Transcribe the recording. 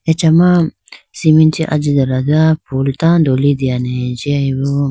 achama cement chee ajitela do phool tando litene jiyayi bo.